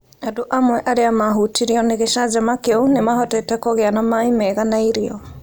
Andũ amwe arĩa maahutirio nĩ gĩcanjama kĩu nĩ mahotete kũgĩa na maĩ mega na irio